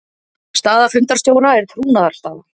Staða fundarstjóra er trúnaðarstaða.